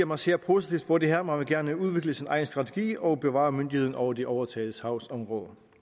man ser positivt på det her men man vil gerne udvikle sin egen strategi og bevare myndigheden over de overtagede sagsområder